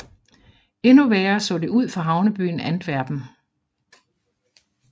Endnu værre så det ud for havnebyen Antwerpen